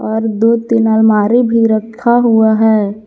और दो तीन अलमारी भी रखा हुआ है।